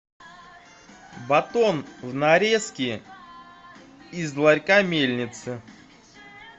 батон в нарезке из ларька мельница